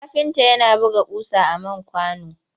Kafinta yana buga ƙusa a man kwano.